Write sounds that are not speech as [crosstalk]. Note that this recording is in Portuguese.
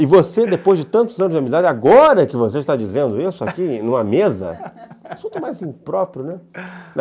E você, depois de tantos anos de amizade, agora que você está dizendo isso aqui [laughs] numa mesa, é um assunto mais impróprio, né? [laughs]